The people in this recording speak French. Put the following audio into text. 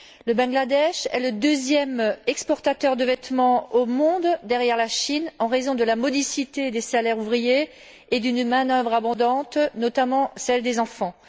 Le Bangladesh est le deuxième exportateur de vêtements au monde, derrière la Chine, en raison de la modicité des salaires ouvriers et de l'abondance de sa main d'œuvre, notamment celle des enfants.